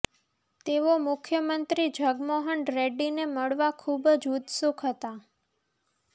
તેઓ મુખ્યમંત્રી જગનમોહન રેડ્ડીને મળવા ખૂબ જ ઉત્સુક હતા